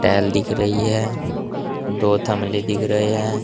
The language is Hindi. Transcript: एल दिख रही है दो थमले दिख रहे हैं।